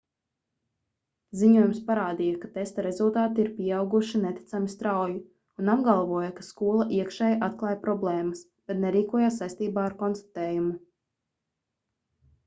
ziņojums parādīja ka testa rezultāti ir pieauguši neticami strauji un apgalvoja ka skola iekšēji atklāja problēmas bet nerīkojās saistībā ar konstatējumu